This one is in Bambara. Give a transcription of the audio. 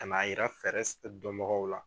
Ka n'a yira fɛɛrɛ dɔn bagaw la.